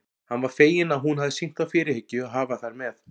Hann var feginn að hún hafði sýnt þá fyrirhyggju að hafa þær með.